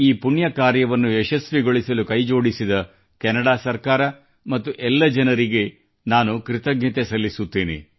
ಈ ಪುಣ್ಯ ಕಾರ್ಯವನ್ನು ಯಶಸ್ವಿಗೊಳಿಸಲು ಕೈಜೋಡಿಸಿದ ಕೆನಡಾ ಸರ್ಕಾರ ಮತ್ತು ಎಲ್ಲ ಜನರಿಗೆ ನಾನು ಕೃತಜ್ಞತೆ ಸಲ್ಲಿಸುತ್ತೇನೆ